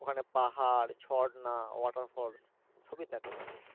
ওখানে পাহাড়, ঝর্ণা, waterfolls সবই থাকে ওখানে।